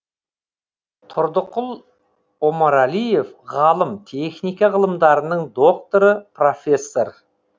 тұрдықұл омарәлиев ғалым техника ғылымдарының докторы профессор